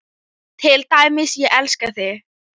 Til dæmis: Ég elska þig.